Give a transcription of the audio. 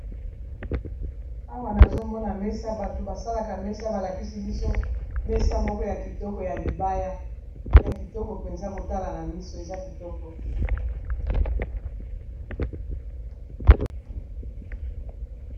Awa nazomona mesa bato basalaka mesa balakisi biso mesa moko ya kitoko ya libaya, ya kitoko mpenza kotala na miso eza kitoko.